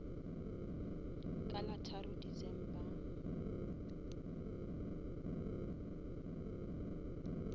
ka la tharo december